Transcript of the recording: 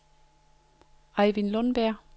Ejvind Lundberg